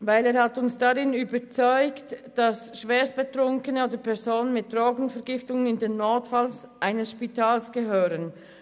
Uns hat überzeugt, dass Schwerstbetrunkene in den Notfall eines Spitals gehören.